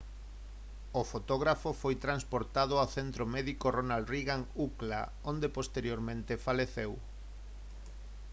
o fotógrafo foi transportado ao centro médico ronald reagan ucla onde posteriormente faleceu